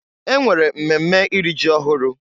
E nwere mmemme iri ji ọhụrụ.